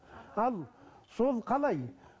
ал сол қалай